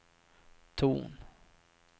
ton